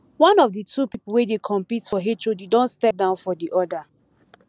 one of the two people wey dey compete for hod don step down for the other